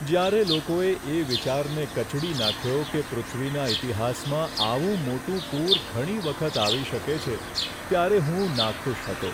જ્યારે લોકોએ એ વિચારને કચડી નાખ્યો કે પૃથ્વીના ઇતિહાસમાં આવું મોટું પૂર ઘણી વખત આવી શકે છે, ત્યારે હું નાખુશ હતો.